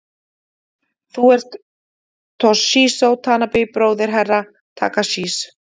Þú ert Toshizo Tanabe, bróðir Herra Takashis?